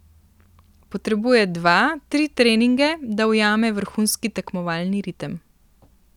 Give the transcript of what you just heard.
Potrebuje dva, tri treninge, da ujame vrhunski tekmovalni ritem.